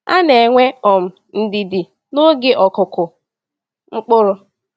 Ana enwe um ndidi n'oge n'okụkụ mkpụrụ.